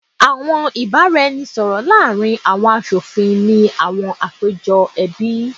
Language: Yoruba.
awọn ibaraẹnisọrọ laarin awọn aṣofin ni awọn apejọ ẹbi